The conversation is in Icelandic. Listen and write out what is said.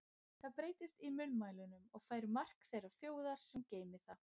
Það breytist í munnmælunum og fær mark þeirrar þjóðar, sem geymir það.